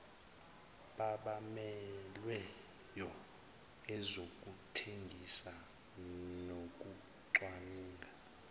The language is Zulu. babamelweyo ezokuthengisa nokucwaninga